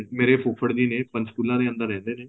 ਮੇਰੇ ਫੁਫੜ ਜੀ ਨੇ ਪੰਚਕੁਲਾ ਦੇ ਅੰਦਰ ਰਹਿੰਦੇ ਨੇ